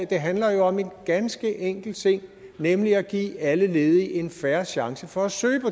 det handler jo om en ganske enkel ting nemlig at give alle ledige en fair chance for at søge